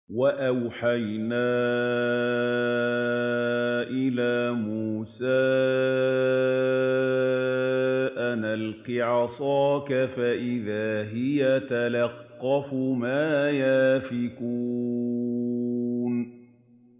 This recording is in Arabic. ۞ وَأَوْحَيْنَا إِلَىٰ مُوسَىٰ أَنْ أَلْقِ عَصَاكَ ۖ فَإِذَا هِيَ تَلْقَفُ مَا يَأْفِكُونَ